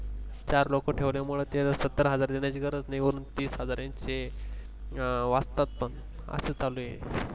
चार लोक ठेवल्यामुळे त्याना सत्तर हजार देण्याची गरज नाही वरुन तिस हजार त्यांचे वाचतात त्यांचे अस चालु आहे